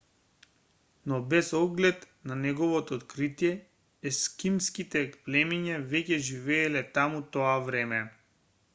но без оглед на неговото откритие ескимските племиња веќе живееле таму тоа време